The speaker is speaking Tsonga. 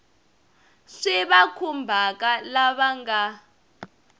swi va khumbhaka lava nga